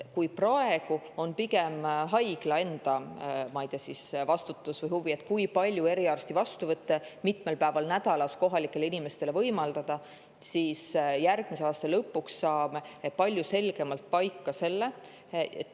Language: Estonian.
Kui praegu on see pigem haigla enda, ma ei tea, vastutus või, kui palju eriarsti vastuvõtte mitmel päeval nädalas kohalikele inimestele võimaldada, siis järgmise aasta lõpuks saame palju selgemalt selle paika.